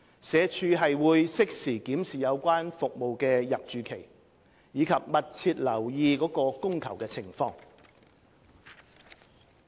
社署會適時檢視有關服務的入住期，以及密切留意其供求情況。